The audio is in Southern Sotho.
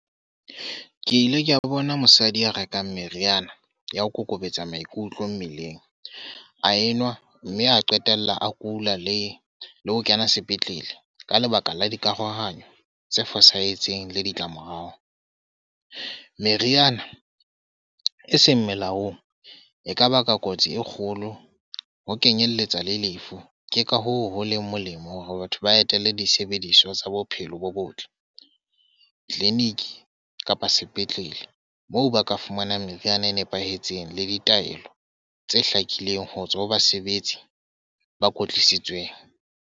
Ke ile kea ba bona mosadi ya rekang meriana, ya ho kokobetsa maikutlo mmeleng. A enwa mme a qetella a kula le le ho kena sepetlele. Ka lebaka la dikarohano tse fosahetseng le ditlamorao. Meriana e seng melaong e kaba ka kotsi e kgolo ho kenyelletsa le lefu. Ke ka hoo ho leng molemo hore batho ba etelle disebediswa tsa bophelo bo bo botle clinic kapa sepetlele. Moo ba ka fumanang meriana e nepahetseng le ditaelo tse hlakileng ho tswa ho basebetsi ba kwetlisitsweng.